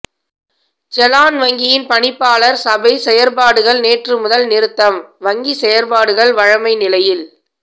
செலான் வங்கியின் பணிப்பாளர் சபை செயற்பாடுகள் நேற்று முதல் நிறுத்தம் வங்கிச் செயற்பாடுகள் வழமை நிலையில்